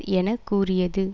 என கூறியது